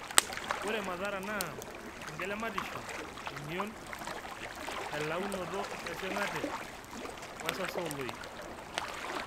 Ore mathara naa engelematisho, emion, elaunoto esing'ate wesaso ooloik.